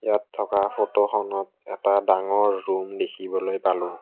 ইয়াত থকা ফটো খনত এটা ডাঙৰ ৰূম দেখিবলৈ পালোঁ।